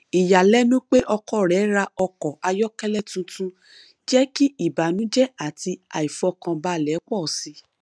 ìyàlẹnu pé ọkọ rẹ ra ọkọ ayọkẹlẹ tuntun jẹ kí ìbànújẹ àti aifọkànbalẹ pọ síi